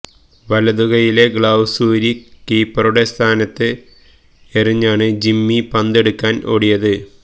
വലത് കൈയിലെ ഗ്ലൌസ് ഊരി കീപ്പറുടെ സ്ഥാനത്ത് എറിഞ്ഞാണ് ജിമ്മി പന്ത് എടുക്കാന് ഓടിയത്